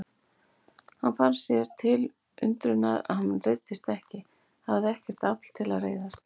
Hann fann sér til undrunar að hann reiddist ekki, hafði ekkert afl til að reiðast.